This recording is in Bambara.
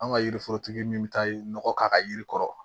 An ka yiri forotigi min bɛ taa nɔgɔ k'a ka yiri kɔrɔ